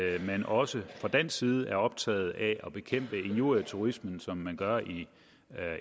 at man også fra dansk side er optaget af at bekæmpe injurieturismen som man gør i